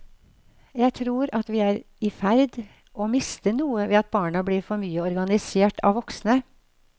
Jeg tror at vi er i ferd å miste noe ved at barna blir for mye organisert av voksne.